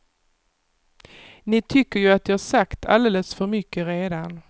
Ni tycker ju att jag sagt alldeles för mycket redan.